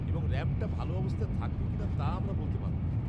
-এবং র‍্যাম্পটা ভালো অবস্থায় থাকবে কিনা তা আমরা বলতে পারব না।